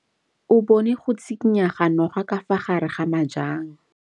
O bone go tshikinya ga noga ka fa gare ga majang.